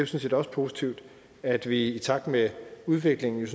set også positivt at vi i takt med udviklingen